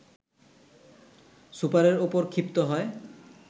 সুপারের ওপর ক্ষিপ্ত হয়